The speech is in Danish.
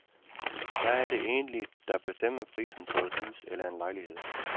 Hvad er det egentlig, der bestemmer prisen på et hus eller en lejlighed?